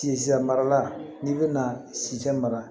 Sisan mara la n'i bɛna sitan mara